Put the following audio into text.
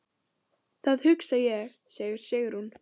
Það hugsa ég, segir Sigrún.